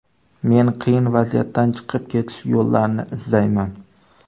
Men qiyin vaziyatdan chiqib ketish yo‘llarini izlayman.